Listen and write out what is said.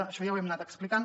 això ja ho hem anat explicant